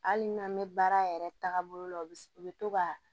Hali n'an bɛ baara yɛrɛ tagabolo la u bɛ to ka